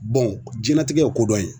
jiyɛn latigɛ ye ko dɔn ye.